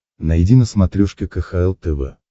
найди на смотрешке кхл тв